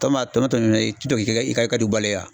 tɔ mana to min ye, i to k'i ka, i ka i ka du balo ya ?